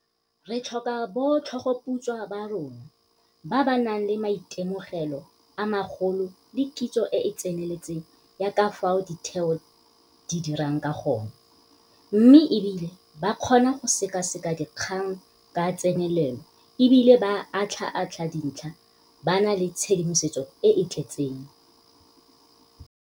Re tlhoka botlhogoputswa ba rona, ba ba nang le maitemogelo a magolo le kitso e e tseneletseng ya ka fao ditheo di dirang ka gone, mme e bile ba kgona go sekaseka dikgang ka tsenelelo e bile ba atlhaatlha dintlha ba na le tshedimosetso e e tletseng.